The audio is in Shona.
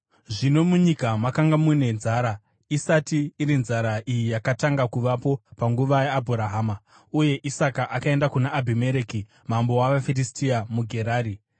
Zvino munyika makanga mune nzara, isati iri nzara iya yakatanga kuvapo panguva yaAbhurahama, uye Isaka akaenda kuna Abhimereki mambo wavaFiristia muGerari.